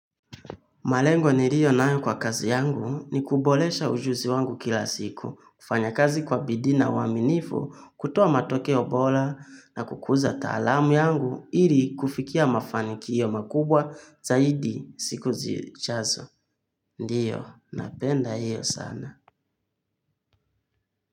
Malengo niliyo nayo kwa kazi yangu ni kuboresha ujuzi wangu kila siku, kufanya kazi kwa bidii na uaminifu, kutoa matokeo bora na kukuza taalamu yangu ili kufikia mafanikio makubwa zaidi siku zijazo. Ndiyo, napenda hiyo sana.